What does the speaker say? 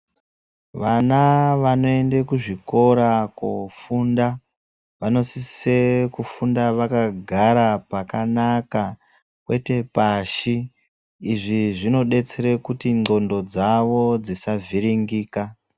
Vana vanoende ku zvikora ko funda vano sise kufunda vaka gara pakanaka kwete pashi izvi zvino desere kuti ndxondo dzavo dzisa vhiringika.